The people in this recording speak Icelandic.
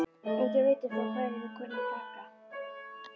Enginn veit upp á hverju þeir kunna að taka!